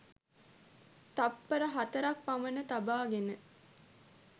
තත්පර හතරක් පමණ තබාගෙන